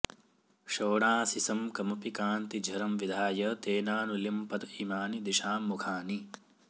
शोणासिसं कमपि कान्तिझरं विधाय तेनानुलिम्पत इमानि दिशां मुखानि